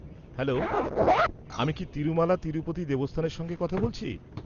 -Hello, আমি কি তিরুমালা তিরুপতি দেবস্থানের সঙ্গে কথা বলছি?